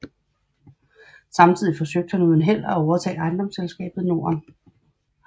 Samtidig forsøgte han uden held at overtage Ejendomsselskabet Norden